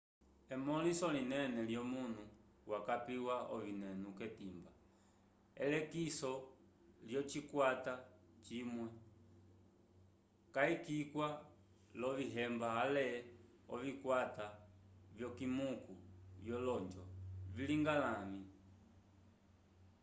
emõliso linene lyomunu wakapiwa ovinenu k'etimba elekiso lyocikwata cimwe cayikwiwa l'ovihemba ale ovikwata vyokimiku vyolonjo vilinga lavĩ